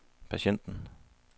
patienten